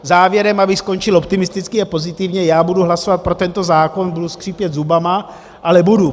Závěrem, abych skončil optimisticky a pozitivně, já budu hlasovat pro tento zákon, budu skřípět zubama, ale budu.